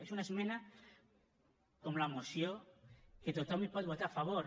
és una esmena com la moció que tothom hi pot votar a favor